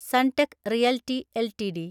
Sunteck realty LTD